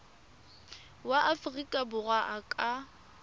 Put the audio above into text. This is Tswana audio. wa aforika borwa a ka